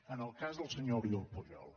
en el cas del senyor oriol pujol